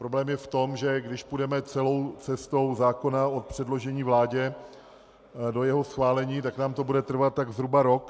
Problém je v tom, že když půjdeme celou cestou zákona od předložení vládě do jeho schválení, tak nám to bude trvat tak zhruba rok.